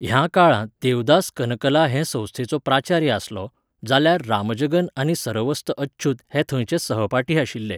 ह्या काळांत देवदास कनकला हे संस्थेचो प्राचार्य आसलो, जाल्यार रामजगन आनी सरवस्त अच्युथ हे थंयचे सहपाठी आशिल्ले.